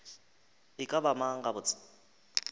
e ka ba mang gabotse